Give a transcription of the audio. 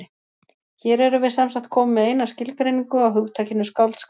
Hér erum við semsagt komin með eina skilgreiningu á hugtakinu skáldskap.